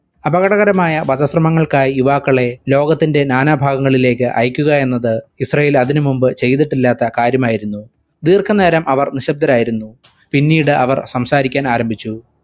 അപകടകരമായ വധശ്രമങ്ങൾക്കായി യുവാക്കളെ ലോകത്തിന്റെ നാനാഭാഗങ്ങളിലേക്ക് അയക്കുകയെന്നത് ഇസ്രായേൽ അതിനുമുൻപ് ചെയ്തിട്ടില്ലാത്ത കാര്യമായിരുന്നു. ദീർഘനേരം അവർ നിശ്ശബ്ദരായിരുന്നു. പിന്നീട് അവർ സംസാരിക്കാൻ ആരംഭിച്ചു.